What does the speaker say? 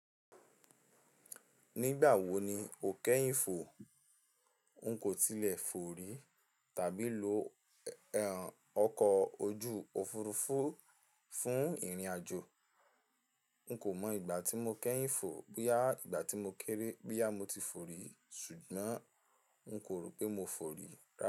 Nígbà wo ni o kẹ́yìn fò? N kò tilẹ̀ fò rí, tàbí lo ọkọ̀ ojú òfurufú fún ìrìnàjò. N kò mọ ìgbà tí mo kẹ́yìn fò, boyà ìgbà tí mo kéré boyà mo ti fò rí ṣùgbọ́n n kò rò pé mo fò rí rárá.